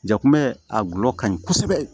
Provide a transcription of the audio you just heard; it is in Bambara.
Jakuma a gulɔ ka ɲi kosɛbɛ